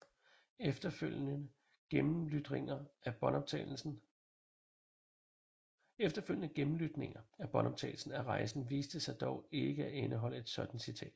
Efterfølgende gennemlytninger af båndoptagelsen af rejsen viste sig dog ikke at indeholde et sådant citat